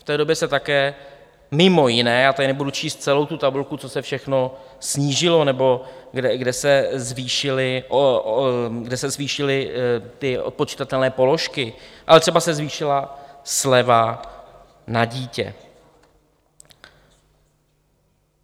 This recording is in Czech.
V té době se také mimo jiné, já tady nebudu číst celou tu tabulku, co se všechno snížilo nebo kde se zvýšily ty odpočitatelné položky, ale třeba se zvýšila sleva na dítě.